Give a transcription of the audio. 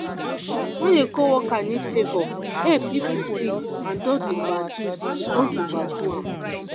when a co-worker need favor help if you fit but don’t overdo don’t overdo am.